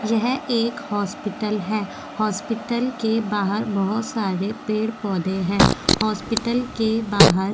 यह एक हॉस्पिटल है हॉस्पिटल के बाहर बहुत सारे पेड़-पौधे हैं हॉस्पिटल के बाहर --